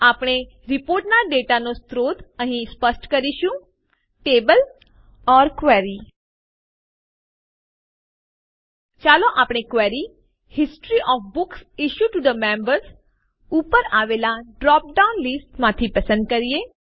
આપણે રીપોર્ટના ડેટાનો સ્રોત અહીં સ્પષ્ટ કરીશું ટેબલ અથવા ક્વેરી ચાલો આપણી query history O F books issued T O members ઉપર આવેલા ડ્રોપડાઉન લીસ્ટ માંથી પસંદ કરીએ